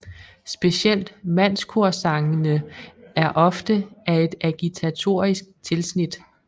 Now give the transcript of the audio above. Specielt mandskorsangene er ofte af et agitatorisk tilsnit